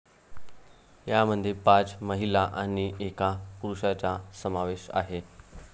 यामध्ये पाच महिला आणि एका पुरुषाचा समावेश आहे.